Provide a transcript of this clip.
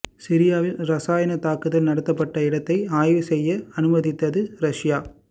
சிரியாவில் ரசாயன தாக்குதல் நடத்தப்பட்ட இடத்தை ஆய்வு செய்ய அனுமதித்தது ரஷ்யா